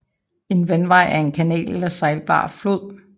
En vandvej er en kanal eller sejlbar flod